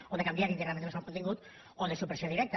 o de canviar íntegrament el seu contingut o de supressió directa